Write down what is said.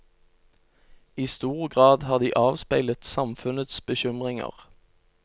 I stor grad har de avspeilet samfunnets bekymringer.